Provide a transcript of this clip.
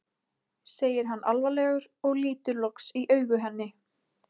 segir hann alvarlegur og lítur loks í augu henni.